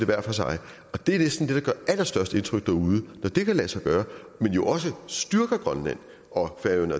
hver for sig det er næsten det der allerstørste indtryk derude når det kan lade sig gøre men jo også styrker grønland og